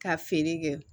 Ka feere kɛ